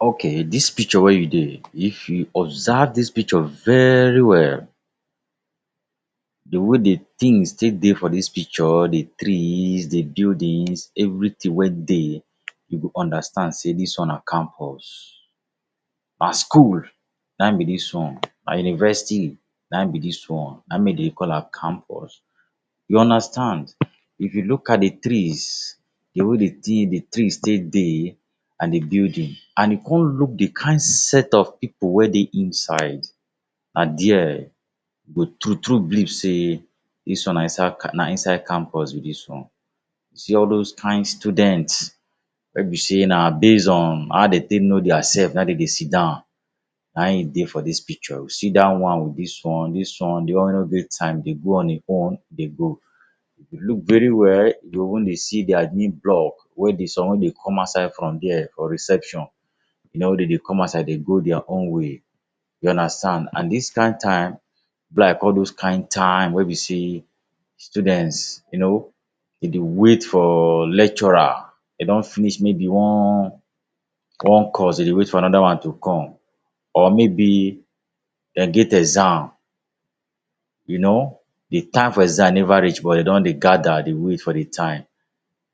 Okay, dis picture wey you dey, if you observe dis picture very well, di way di tins take dey for dis picture—di trees, di buildings every tin wey dey, you go understand sey dis one na campus. Na school na ein be dis one; na university na ein be dis one. Na ein make de call am campus. You understand? If you look at di trees, di way di di tree take dey, an di building, an you con look di kain set of pipu wey dey inside, na there you go true-true believe sey dis one na inside na inside campus be dis one. See all dos kain students wey be sey na base on how de take know diasef na ein de dey sit down, na ein dey for dis picture. You see dat one with dis one, dis one, di one wey no get time dey go on ein own dey go. If you look very well, you go even dey see di admin block wey di someone dey come outside from dia for reception. You know wey de dey come outside dey go dia own way. You understand. An dis kain time be like all dos kain time wey be sey students, you know, de dey wait for lecturer. De don finish maybe one one course, de dey wait for another one to come, or maybe de get exam. You know, di time for exam neva reach but de don dey gather dey wait for di time.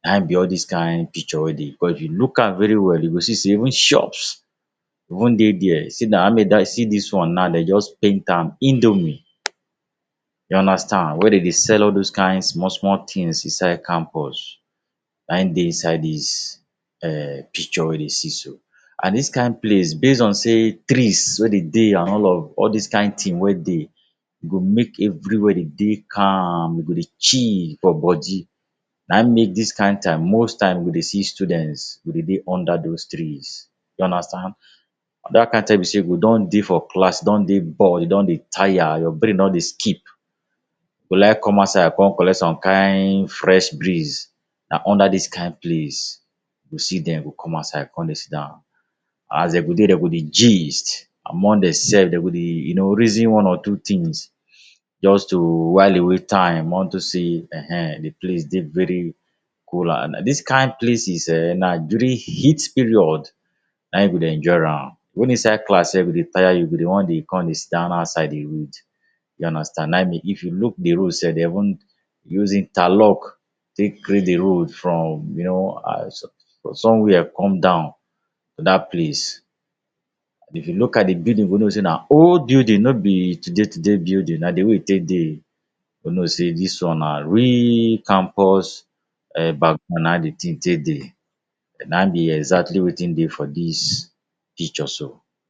Na ein be all dis kain picture wey dey. Becos if you look am very well, you go see sey even shops even dey there. See see dis one nau, de juz paint “Indomie.” You understand, wey de dey sell all dos kain small-small tins inside campus, na ein dey inside dis um picture wey you dey see so. An dis kain place, base on sey trees wey de dey an all of all dis kain tin wey dey, e go make everywhere dey dey calm, you go dey chill for bodi. Na ein make dis kain time, most time, you go dey see students go dey dey under dos trees. You understand? Dat kain time wey be sey you go don dey for class, don dey bored, de don dey taya, your brain don dey skip, you go like come outside con collect some kain fresh breeze. Na under dis kain place you see dem go come outside con dey sit down. As de go dey, de go dey gist among desef, de go dey you know, reason one or two tins juz to while away time unto sey[um]ehn di place dey very cool an um. Dis kain places eh, na during heat period na ein you go dey enjoy am. Wen inside class sef go dey taya you, you go dey wan dey con dey sit down outside dey read. You understand? Na ein if you look di road sef, de even use interlock take create di road from you know um somewhere come down dat place. If you look at di building, you go know sey na old building, no be today-today building. Na di way e take dey you go know sey dis one na real campus um na ein di tin take dey, na ein be exactly wetin dey for dis picture so.